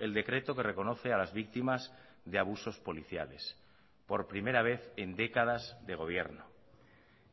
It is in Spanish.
el decreto que reconoce a las víctimas de abusos policiales por primera vez en décadas de gobierno